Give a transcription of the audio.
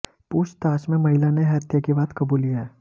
पूछताछ में महिला ने हत्या की बात कबूली है